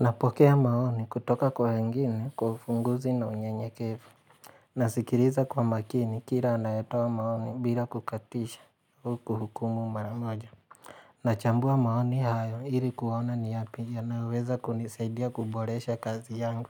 Napokea maoni kutoka kwa wengine kwa ufunguzi na unyenyekevu. Nasikiliza kwa makini kile anayetoa maoni bila kukatisha huku hukumu mara moja. Nachambua maoni hayo ili kuona ni yapi yanaweza kunisaidia kuboresha kazi yangu.